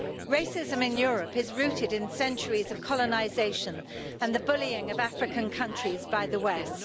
Racism in Europe is rooted in centuries of colonisation and the bullying of African countries by the West.